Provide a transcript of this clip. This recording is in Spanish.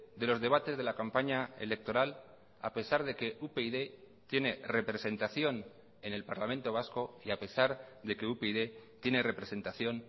de los debates de la campaña electoral a pesar de que upyd tiene representación en el parlamento vasco y a pesar de que upyd tiene representación